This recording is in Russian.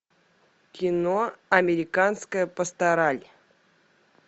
кино американская пастораль